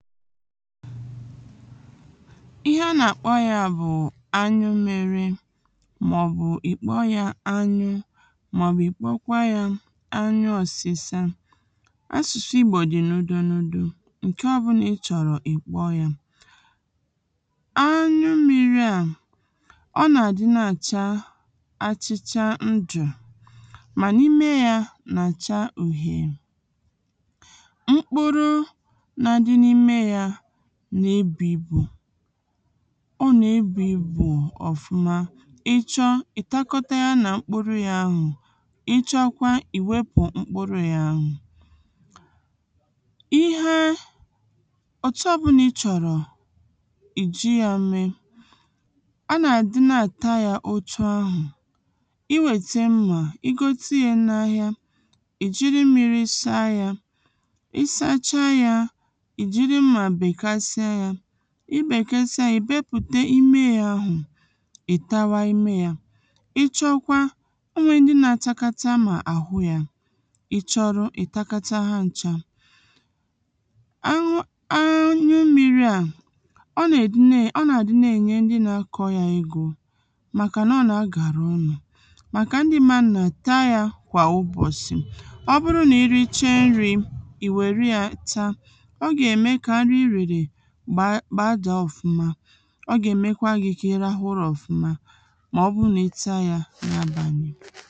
ihe a nà-àkpọ ya bụ̀ anyụ mmi̇ri̇ màọ̀bụ̀ ìkpọ́ yȧ anyụ màọ̀bụ̀ ìkpokwa yȧ anyụ ọ̀sịsa asụ̀sụ ìgbò dị na-ụdị n’ụdị ǹke ọbụlà ị chọ̀rọ̀ ìkpọ́ yȧ anyụ mmi̇ri̇ à ọ nà-àdị na-àcha achịcha ndụ̀ mà n’ime yȧ nà-àcha ùhè nà e bù ibù ọ nà e bù ibù ọ̀fụma ị chọ ị̀ takọta ya nà mkpuru ya ahù ị chọkwa ì wepù mkpuru ya ahù ihee ọ̀chọ bùnà i chọ̀rọ̀ ì ji ya mee a nà à di naà ta yȧ otu ahù i wète mmà i gote yȧ n’ahịa ì jiri mmiri ị saa yȧ ị sachaa yȧ i bèkesa yȧ ị̀ bepụ̀ta ime yȧ ahụ̀ ị̀ tawa ime yȧ ịchọkwa o nwèrè ndị nȧ-atakata mà àhụ yȧ ịchọrụ ị̀ takataha ncha anyu anyu mmiri̇ à ọ nè-èdine ọ nà-àdị na-ènye ndị nȧ-akọ yȧ egȯ màkà nà ọ nà-agàra ọnụ̇ màkà ndị mannà ta yȧ kwà ụbọ̀sì ọ bụrụ nà i riche nri̇ ì wèru yȧ taa gbaa.. baja ọ̀fụma ọ gà-èmekwa gị kà ị rahụ ụrȧ ọ̀fụma mà ọ bụ nà eti̇ a ya n’abàlị̀